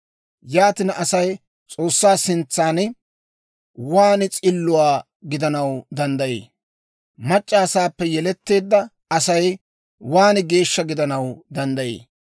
Yaatina, Asay S'oossaa sintsan waan s'illuwaa gidanaw danddayii? Mac'c'a asaappe yeletteedda Asay waan geeshsha gidanaw danddayii?